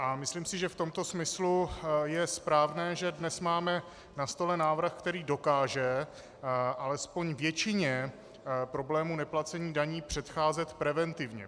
A myslím si, že v tomto smyslu je správné, že dnes máme na stole návrh, který dokáže alespoň většině problémů neplacení daní předcházet preventivně.